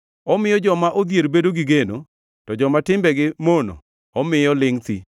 Omiyo joma odhier bedo gi geno, to joma timbegi mono omiyo lingʼ thi.